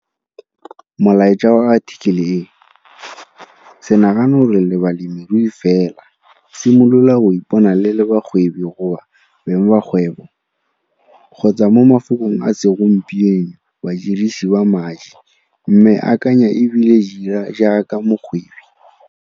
Molaetsa wa athikele e, se nagane gore le balemirui fela, simolola go ipona le le bakgwebi goba beng ba kgwebo, kgotsa mo mafokong a segompieno badirisi ba madi, mme akanya e bile dira jaaka mokgwebi.